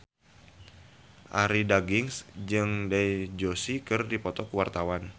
Arie Daginks jeung Dev Joshi keur dipoto ku wartawan